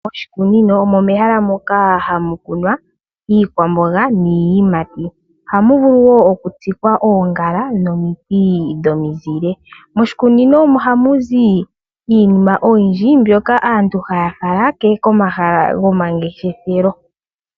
Moshikunino omo mehala moka hamu kunwa iikwamboga niiyimati. Ohamu vulu woo oku tsikwa oongala nomiti dhomizile. Moshikunino ohamu zi iinima oyindji mbyoka aantu haya fala komahala go mangeshefelo.